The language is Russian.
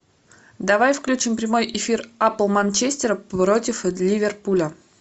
давай включим прямой эфир апл манчестер против ливерпуля